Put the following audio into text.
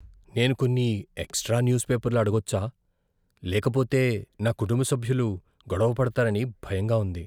నేను కొన్ని extra news పేపర్లు అడగొచ్చా? లేకపోతే నా కుటుంబ సభ్యులు గొడవపడతారని భయంగా ఉంది.